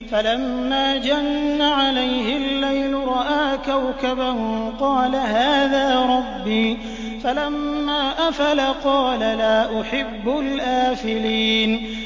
فَلَمَّا جَنَّ عَلَيْهِ اللَّيْلُ رَأَىٰ كَوْكَبًا ۖ قَالَ هَٰذَا رَبِّي ۖ فَلَمَّا أَفَلَ قَالَ لَا أُحِبُّ الْآفِلِينَ